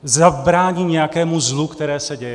Zabrání nějakému zlu, které se děje?